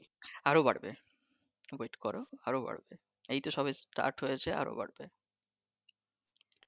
আরো বাড়বে wait করো আরো বাড়বে এইতো সবে start হয়েছে আরো বাড়বে